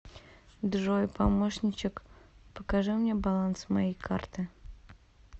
джой помощничек покажи мне баланс моей карты